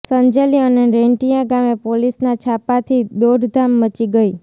સંજેલી અને રેંટિયા ગામે પોલીસના છાપાથી દોડધામ મચી ગઈ